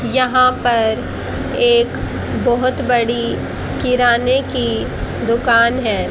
यहां पर एक बहुत बड़ी किराने की दुकान है।